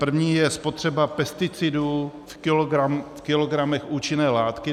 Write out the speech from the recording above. První je spotřeba pesticidů v kilogramech účinné látky.